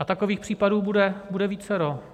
A takových případů bude vícero.